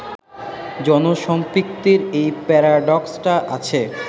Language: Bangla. জনসম্পৃক্তির এই প্যারাডক্সটা আছে